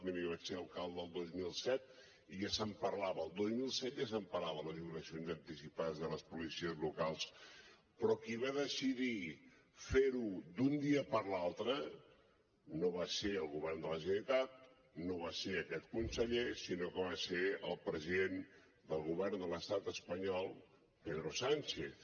miri jo vaig ser alcalde el dos mil set i ja se’n parlava el dos mil set ja se’n parlava de la jubilació anticipada de les policies locals però qui va decidir fer ho d’un dia per l’altre no va ser el govern de la generalitat no va ser aquest conseller sinó que va ser el president del govern de l’estat espanyol pedro sánchez